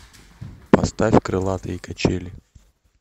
поставь крылатые качели